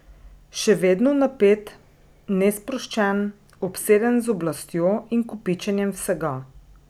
Še vedno napet, nesproščen, obseden z oblastjo in kopičenjem vsega.